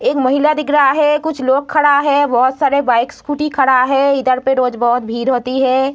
एक महिला दिख रहा है कुछ लोग खड़ा है बहुत सारे बाइक स्कूटी खड़ा है इधर पे रोज बहुत भीड़ होती है।